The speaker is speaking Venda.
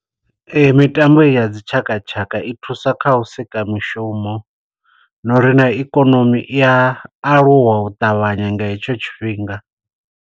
Ee, mitambo heyi ya dzitshakatshaka i thusa kha u sika mishumo, no uri na ikonomi i a aluwa u ṱavhanya nga hetsho tshifhinga.